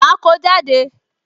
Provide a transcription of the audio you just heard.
Ma ko jáde